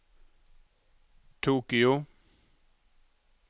Tokyo